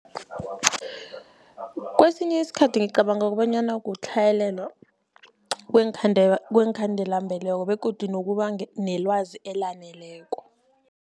Kesinye isikhathi ngicabanga kobanyana kutlhayelelwa kweenkhandela-mbeleko begodu nokuba nelwazi elaneleko.